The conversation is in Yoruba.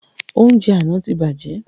Oúnjẹ àna tí bàjẹ́